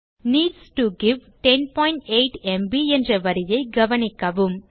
needs to give 108 ம்ப் என்ற வரியைக் கவனிக்கவும்